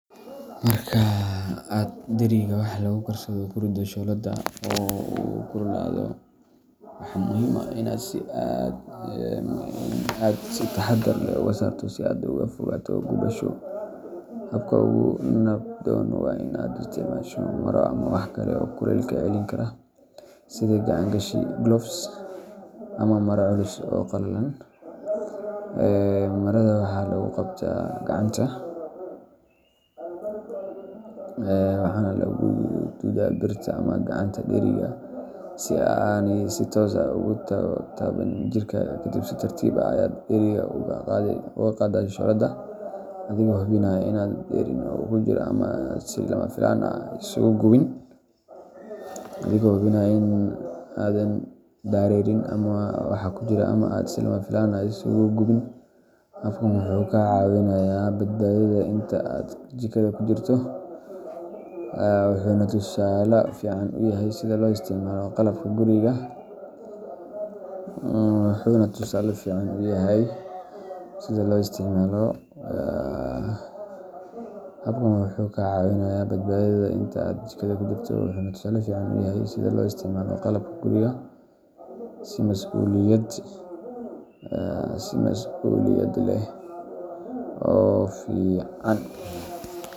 Marka aad dheriga wax lagu karsado ku riddo shooladda oo uu kululaado, waxaa muhiim ah in aad si taxaddar leh uga saarto si aad uga fogaato gubasho. Habka ugu nabdoon waa in aad isticmaasho maro ama wax kale oo kulaylka celin kara sida gacan-gashi gloves ama maro culus oo qalalan. Marada waxaa lagu qabtaa gacanta waxaana lagu duudaa birta ama gacanta dheriga, si aanay si toos ah ugu taaban jirkaaga. Kadib, si tartiib ah ayaad dheriga uga qaadaa shooladda, adigoo hubinaya in aadan dareerin waxa ku jira ama aad si lama filaan ah isugu gubin. Habkan wuxuu kaa caawinayaa badbaadadaada inta aad jikada ku jirto, wuxuuna tusaale fiican u yahay sida loo isticmaalo qalabka guriga si masuuliyad leh oo fican.